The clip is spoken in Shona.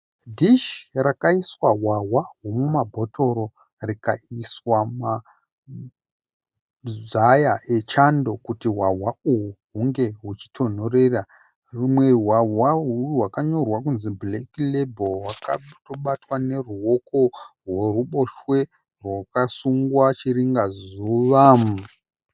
Dhishi rakaiswa hwahwa huri mumabhotoro rikaiswa mazaya echando kuti hwahwa uhwu hunge huchitonhorera. Humwe hwahwa hwakanyorwa kunzi bhureki rebhuru hwakatobatwa neruoko rweruboshwe rwakasungwa chiringazuva .